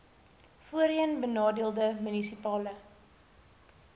voorheen benadeelde munisipale